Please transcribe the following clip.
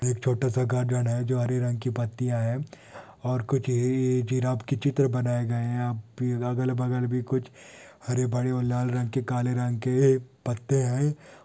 एक छोटा सा गार्डन है जो हरे रंग की पत्तिया है और ये-ये जिराफ के चित्र बनाये गए है अब भी अगल बगल भी कुछ हरे बड़े और लाल रंग के काले रंग के पत्ते है|